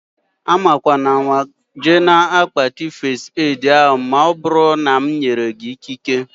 Amakwanama jee na-akpati fest edi ahụ maọbụru na m enyeghị gị ikike